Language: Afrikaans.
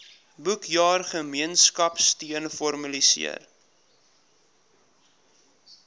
boekjaar gemeenskapsteun formaliseer